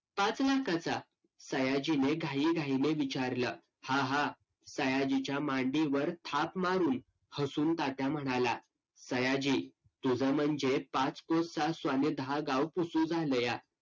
त्या madam ला बोलून घेऊ उद्या .